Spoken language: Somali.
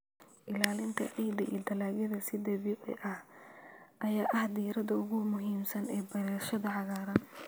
Ilaalinta ciidda iyo dalagyada si dabiici ah ayaa ah diiradda ugu muhiimsan ee beerashada cagaaran.